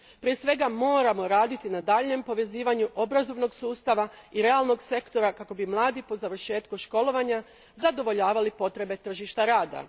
Prije svega moramo raditi na daljnjem povezivanju obrazovnog sustava i realnog sektora kako bi mladi po završetku školovanja zadovoljavali potrebe tržišta rada.